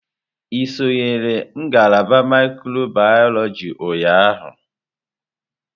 Ị sonyere ngalaba mikrobiyọlojị ụnyahụ?